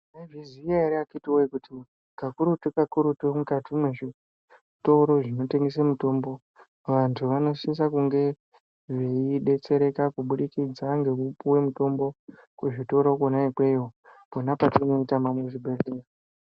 Munozviziva ere akiti woye kuti kakurutu kakurutu mukati mezvitoro zvinotengesa mutombo vantu vanosisa kunge veidetsereka kuburikidza ngekupuwa mitombo kuzvitoro zvona izvozvo pona patinoitama kuzvibhedhlera.